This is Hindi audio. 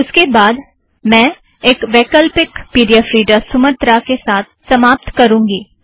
उसके बाद मैं एक वैकल्पिक P D F reader Sumatra के साथ समाप्त करुँगी